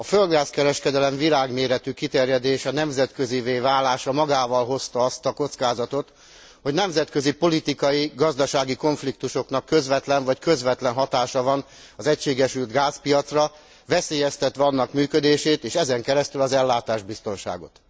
A földgáz kereskedelem világméretű kiterjedése, nemzetközivé válása magával hozta azt a kockázatot, hogy nemzetközi, politikai, gazdasági konfliktusoknak közvetlen vagy közvetlen hatása van az egységesült gázpiacra, veszélyeztetve annak működését és ezen keresztül az ellátásbiztonságot.